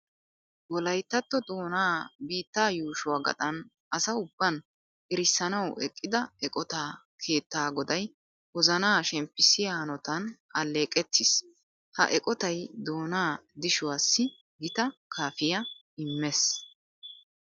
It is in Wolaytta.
Wolayttatto doonaa biittaa yuushuwa gaxan asa ubban erissanawu eqqida eqotaa keettaa goday wozanaa shemppissiya hanotan alleeqettiis. Ha eqotay doonaa dishuwassi gita kaafiya immees.